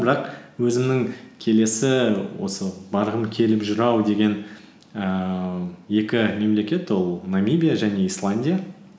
бірақ өзімнің келесі осы барғым келіп жүр ау деген ііі екі мемлекет ол намибия және исландия